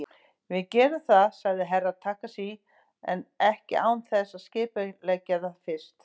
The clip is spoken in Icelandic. Við gerum það, sagði Herra Takashi, en ekki án þess að skipuleggja það fyrst.